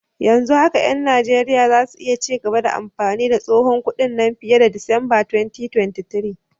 Yanzu haka 'yan Najeriya za su iya ci gaba da amfani da tsohon kudin nan fiye da Disamba 2023.